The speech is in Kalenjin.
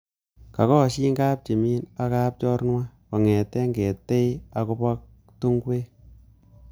Kakoshin kapchimi aka kapnchorwa kongete keetei akobo tungwek